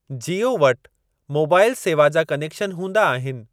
जीओ वटि मोबाइल सेवा जा कनेक्शन हूंदा आहिनि।